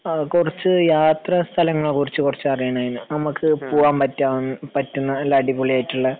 കുറച്ചു യാത്ര സ്ഥലങ്ങളെ കുറിച്ച് കുറച്ചു കുറച്ചു അറിയാനാണ് നമ്മക്ക് പോവാൻ പറ്റുന്ന നല്ല അടിപൊളി ആയിട്ടുള്ള